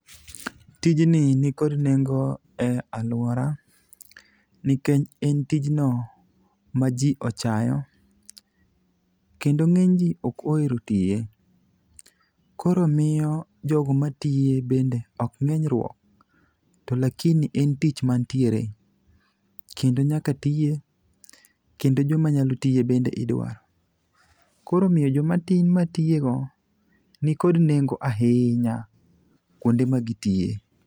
Tijni nikod nengo e alwora nikech en tijno ma ji ochayo kendo ng'eny ji ok ohero tiye. Koro miyo jogo matiye bende ok ng'eny ruok, to lakini en tich manitiere, kendo nyaka tiye kendo joma nyalo tiye bende idwaro. Koro omiyo jomatin matiyego nikod nengo ahinya kwonde ma gitiye.